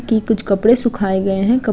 की कुछ कपड़े सुखाए गए है कप --